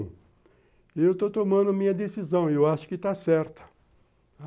Eu estou tomando a minha decisão e eu acho que está certa.